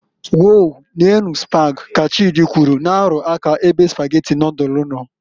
"Wow, neenu Spag", ka Chidi kwụrụ, na- arụ aka ebe Spaghetti nodulu no.